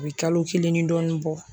O bi kalo kelen ni dɔɔnin bɔ